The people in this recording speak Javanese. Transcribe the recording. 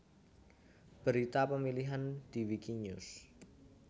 Berita pemilihan di Wikinews